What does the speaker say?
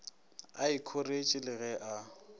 a ikhoretše le ge a